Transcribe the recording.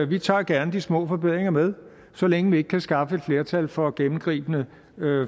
vi tager gerne de små forbedringer med så længe vi ikke kan skaffe et flertal for gennemgribende